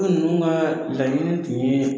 Ulu ninnu kaa laɲini tun yee